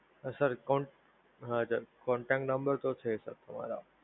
Sir કોન અચ્છા Contact No. તો છે તમારા.